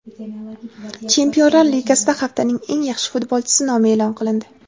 Chempionlar Ligasida haftaning eng yaxshi futbolchisi nomi e’lon qilindi.